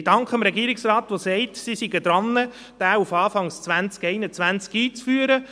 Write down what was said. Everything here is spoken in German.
Ich danke dem Regierungsrat, der sagt, dass er daran ist, diesen auf das Jahr 2021 einzuführen.